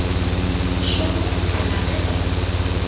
šoma go fihlela ge di